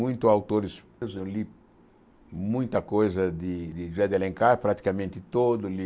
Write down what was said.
Muito autores, eu li muita coisa de de José de Alencar, praticamente todo o